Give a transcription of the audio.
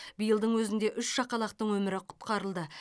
биылдың өзінде үш шақалақтың өмірі құтқарылды